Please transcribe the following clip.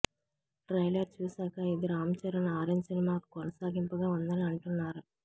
trailer చూశాక ఇది Ram Charan Orange సినిమాకు కొనసాగింపుగా ఉందని అంటున్నారు